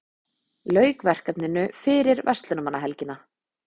Lauk verkefninu fyrir verslunarmannahelgina